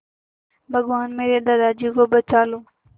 भगवान मेरे दादाजी को बचा लो